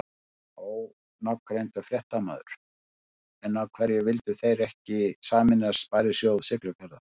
Ónafngreindur fréttamaður: En af hverju vildu þið ekki sameinast Sparisjóð Siglufjarðar?